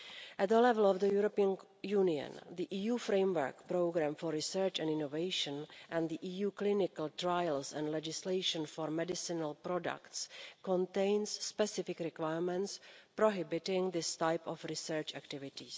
At the level of the European Union, the EU Framework Programme for Research and Innovation and the EU clinical trials and legislation for medicinal products contain specific requirements prohibiting these types of research activity.